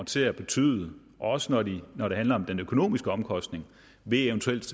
til at betyde også når det når det handler om den økonomiske omkostning ved eventuelt